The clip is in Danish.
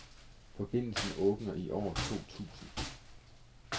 Forbindelsen åbner i år to tusind.